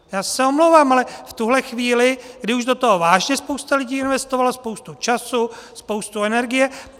Já se omlouvám, ale v tuhle chvíli, kdy už do toho vážně spousta lidí investovala spoustu času, spoustu energie...